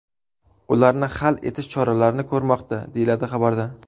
Ularni hal etish choralarini ko‘rmoqda”, deyiladi xabarda.